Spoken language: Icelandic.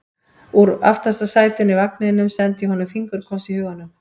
Og úr aftasta sætinu í vagninum sendi ég honum fingurkoss í huganum.